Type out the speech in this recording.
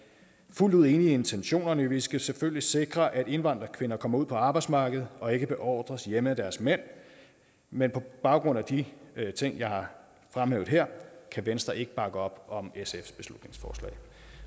fuldt ud enige i intentionerne vi skal selvfølgelig sikre at indvandrerkvinder kommer ud på arbejdsmarkedet og ikke beordres være hjemme af deres mænd men på baggrund af de ting jeg har fremhævet her kan venstre ikke bakke op om sfs beslutningsforslag